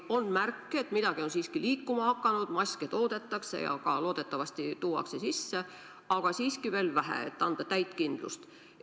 On märke, et midagi on siiski liikuma hakanud, maske toodetakse ja loodetavasti ka tuuakse sisse, aga siiski veel vähe, et anda täit kindlust.